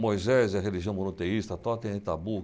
Moisés e a religião monoteísta, Totem e Tabu.